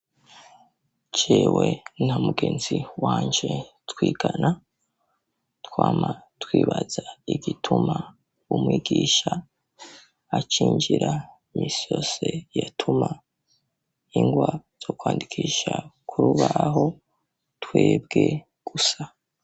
Jewe nta mugenzi wanje twigana twama twibaza igituma umwigisha acinjira misose yatuma ingwa zo kwandikisha kurubaho twebwe gusa.